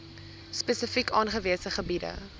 spesifiek aangewese gebiede